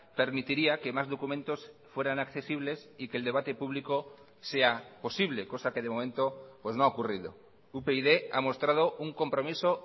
permitiría que más documentos fueran accesibles y que el debate público sea posible cosa que de momento pues no ha ocurrido upyd ha mostrado un compromiso